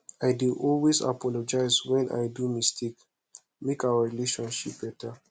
i dey always apologize wen i do mistake make our relationship beta